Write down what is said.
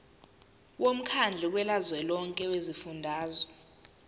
womkhandlu kazwelonke wezifundazwe